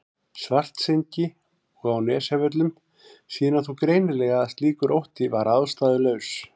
Svartsengi og á Nesjavöllum sýna þó greinilega að slíkur ótti var ástæðulaus.